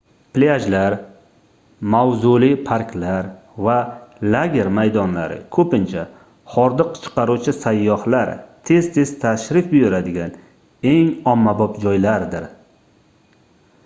plyajlar mavzuli parklar va lager maydonlari koʻpincha hordiq chiqaruvchi sayyohlar tez-tez tashrif buyuradigan eng ommabop joylardir